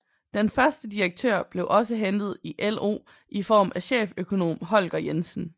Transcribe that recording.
Den første direktør blev også hentet i LO i form af cheføkonom Holger Jensen